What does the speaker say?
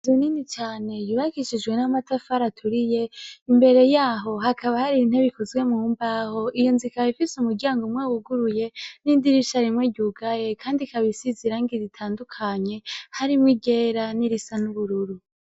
Inzu Nini cane yubakishijwe n’amatafari aturiye , imbere yaho hakaba har’intebe ikoze mumbaho, iyo nzu ikaba ifise umuryang’umwe wuguruye n’idirisha rimwe ryugaye kand’ikaba isize irangi ritandukanye harimw’iryera nirisa n’ubururu.